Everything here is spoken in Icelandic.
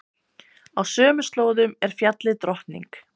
Á sömu slóðum er fjallið Drottning.